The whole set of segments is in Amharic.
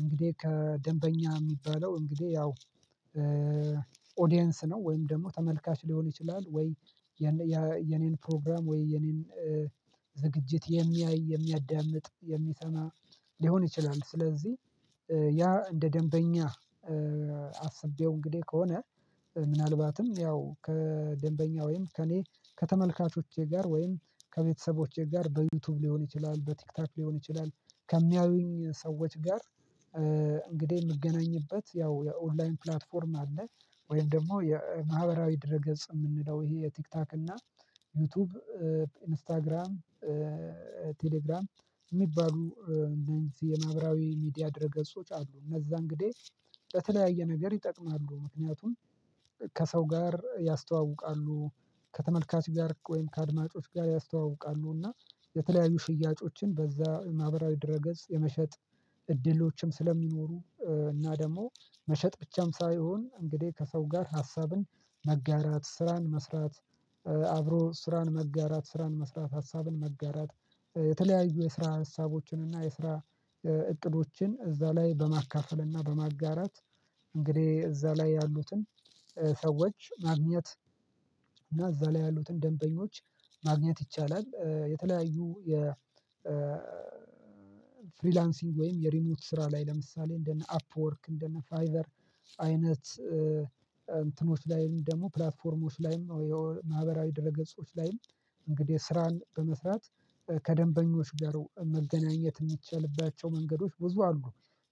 እንግዲህ ከደንበኛ የሚባለው እንግዲህ ያው ኦዲየንስ ነው ወይም ደግሞ ተመልካች ሊሆን ይችላል ወይ የኔን ፕሮግራም ወይ የኔን ዝግጅት የሚያይ የሚያዳምጥ የሚሰማ ሊሆን ይችላል። ስለዚህ ያ እንደ ደንበኛ አስቤው እንግዲህ ከሆነ ምናልባትም ያው ከደንበኛ ወይም ከእኔ ከተመልካቾቼ ጋር ወይም ከቤተሰቦቼ ጋር በዩቲዩብ ሊሆን ይችላል በቲክታክ ሊሆን ይችላል ከሚያዩኝ ሰዎች ጋር እንግዲህ የምገናኝበት ያው የኦንላይን ፕላትፎርም አለ። ወይም ደግሞ የማህበራዊ ድረገጽ የምንለው ይሄ የቲክታክ እና ዩቲዩብ ኢንስታግራም ቴሌግራም የሚባሉ እነዚህ የማህበራዊ ሚዲያ ድህረ ገጾች አሉ እነዛ እንግዲህ ለተለያየ ነገር ይጠቅማሉ ምክንያቱም ከሰው ጋር ያስተዋውቃሉ። ከተመልካች ጋር ወይም ከአድማጮች ጋር ያስተዋውቃሉ እና የተለያዩ ሽያጮችን በዛ ማህበራዊ ድረ ገጽ የመሸጥ እድሎችም ስለሚኖሩ እና ደግሞ መሸጥ ብቻም ሳይሆን እንግዲህ ከሰው ጋር ሀሳብን መጋራት ስራን መስራት። አብሮ ስራን መጋራት ስራን መስራት ሀሳብን መጋራት የተለያዩ የስራ ሀሳቦችን እና የስራ እቅዶችን እዛ ላይ በማካፈል እና በማጋራት እንግዲህ እዛ ላይ ያሉትን ሰዎች ማግኘት እና እዛ ላይ ያሉትን ደንበኞች ማግኘት ይቻላል። የተለያዩ የ ፍሪላንሲንግ ወይም የሪሞት ስራ ላይ ለምሳሌ እንደነ አፕወርክ እንደነ ፋይቨር አይነት እንትኖች ላይም ደግሞ ፕላትፎርሞች ላይም የማህበራዊ ድረ ገጾች ላይም እንግዲህ ስራን በመስራት ከደንበኞች ጋር መገናኘት የሚቻልባቸው መንገዶች ብዙ አሉ።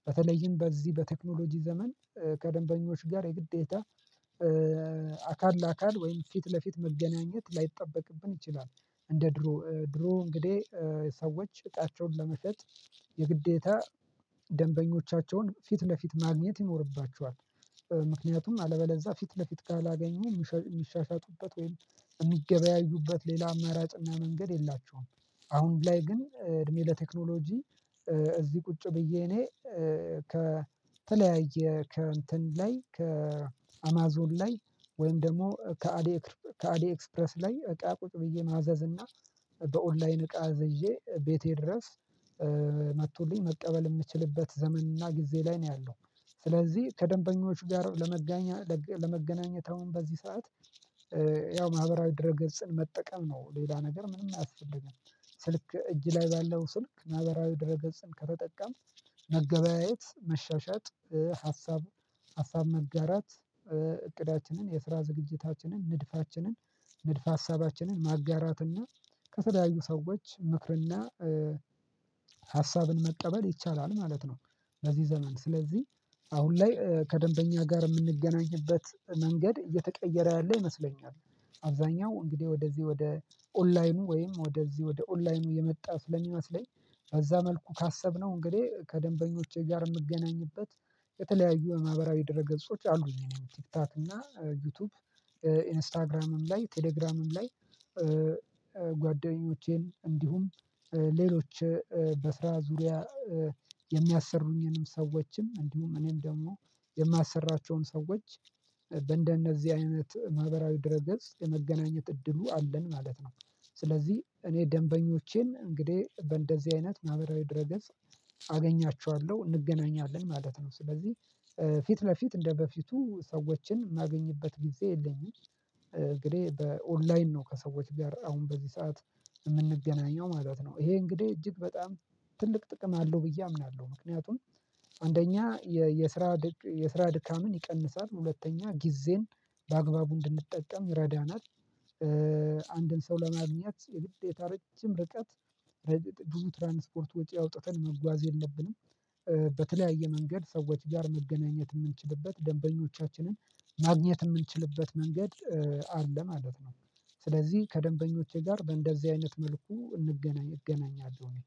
በተለይም በዚህ በቴክኖሎጂ ዘመን ከደንበኞች ጋር የግዴታ አካል ለአካል ወይም ፊት ለፊት መገናኘት ላይጠበቅብን ይችላል። እንደ ድሮ ድሮ እንግዲህ ሰዎች እቃቸውን ለመሸጥ የግዴታ ደንበኞቻቸውን ፊት ለፊት ማግኘት ይኖርባቸዋል ምክንያቱም አለበለዛ ፊት ለፊት ካላገኙ የሚሻሻጡበት ወይም የሚገበያዩበት ሌላ አማራጭ እና መንገድ የላቸውም። አሁን ላይ ግን እድሜ ለቴክኖሎጂ እዚህ ቁጭ ብዬ እኔ ከተለያየ ከእንትን ላይ ከአማዞን ላይ ወይም ደግሞ ከአሊ ኤክስፕረስ ላይ እቃ ቁጭ ብዬ ማዘዝ እና በኦንላይን እቃ እዝዤ ቤቴ ድረስ መጥቶልኝ መቀበል የምችልበት ዘመን እና ጊዜ ላይ ነው ያለው። ስለዚህ ከደንበኞች ጋር ለመገናኘት አሁን በዚህ ሰዓት ያው ማህበራዊ ድረ ገጽን መጠቀም ነው ሌላ ነገር ምንም አያስፈልግም። ስልክ እጅ ላይ ባለው ስልክ ማህበራዊ ድረ ገጽን ከተጠቀምክ መገበያየት መሻሻጥ ሀሳብ ሀሳብ መጋራት እቅዳችንን የስራ ዝግጅታችንን ንድፋችንን ንድፍ ሀሳባችንን ማጋራት እና ከተለያዩ ሰዎች ምክር እና ሀሳብን መቀበል ይቻላል ማለት ነው። በዚህ ዘመን ስለዚህ አሁን ላይ ከደንበኛ ጋር የምንገናኝበት መንገድ እየተቀየረ ያለ ይመስለኛል። አብዛኛው እንግዲህ ወደዚህ ወደ ኦንላይኑ ወይም ወደዚህ ወደ ኦንላይኑ የመጣ ስለሚመስለኝ በዛ መልኩ ካሰብነው እንግዲህ ከደንበኞቼ ጋር የምገናኝበት የተለያዩ የማህበራዊ ድረ ገጾች አሉኝ እኔም ቲክቶክ እና ዩቲዩብ ኢንስታግራምም ላይ ቴሌግራምም ላይ ጓደኞቼን እንዲሁም ሌሎች በስራ ዙሪያ የሚያሰሩኝንም ሰዎችም እንዲሁም እኔም ደግሞ የማሰራቸውም ሰዎች በእንደነዚህ አይነት ማህበራዊ ድረገጽ የመገናኘት እድሉ አለን ማለት ነው። ስለዚህ እኔ ደንበኞቼን እንግዲህ በእንደዚህ አይነት ማህበራዊ ድረገጽ አገኛችኋለሁ እንገናኛለን ማለት ነው። ስለዚህ ፊት ለፊት እንደበፊቱ ሰዎችን የማገኝበት ጊዜ የለኝም። እንግዲህ በኦንላይን ነው ከሰዎች ጋር አሁን በዚህ ሰዓት የምንገናኘው ማለት ነው። ይሄ እንግዲህ እጅግ በጣም ትልቅ ጥቅም አለው ብዬ አምናለሁ ምክንያቱም አንደኛ የስራ የስራ ድካምን ይቀንሳል ሁለተኛ ጊዜን በአግባቡ እንድንጠቀም ይረዳናል። አንድን ሰው ለማግኘት የግዴታ ረጅም ርቀት ብዙ ትራንስፖርት ወጪ አውጥተን መጓዝ የለብንም። በተለያየ መንገድ ሰዎች ጋር መገናኘት የምንችልበት ደንበኞቻችንን ማግኘት የምንችልበት መንገድ አለ ማለት ነው። ስለዚህ ከደንበኞቼ ጋር በእንደዚህ አይነት መልኩ እንገናኝ እገናኛለሁ እኔ